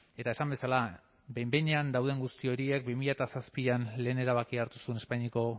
eta esan bezala behin behinean dauden guzti horiek bi mila zazpian lehen erabakia hartu zuen espainiako